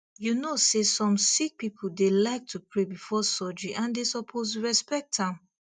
you know say some sick people dey like to pray before surgery and they suppose respect am